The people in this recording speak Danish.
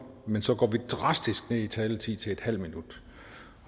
men så går vi drastisk ned i taletid til en halv minut